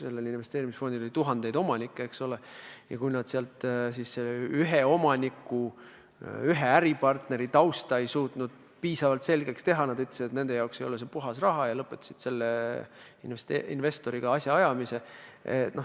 Sellel investeerimisfondil oli tuhandeid omanikke, eks ole, ja kui pangatöötajad neist ühe omaniku, ühe äripartneri tausta piisavalt selgeks teha ei suutnud, siis ütlesid nad, et nende jaoks ei ole see puhas raha, ja lõpetasid selle investoriga asjaajamise.